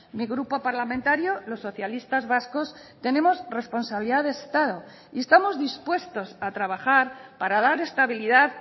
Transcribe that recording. mi grupo parlamentario los socialistas vascos tenemos responsabilidad de estado y estamos dispuestos a trabajar para dar estabilidad